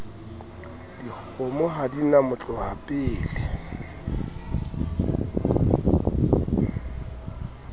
dikgomo ha di na motlohapele